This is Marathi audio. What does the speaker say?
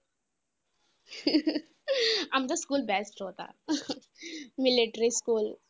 आमचा school best होता. Military school.